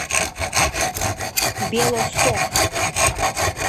белосток